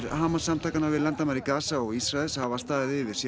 Hamas samtakanna við landamæri Gaza og Ísraels hafa staðið yfir síðan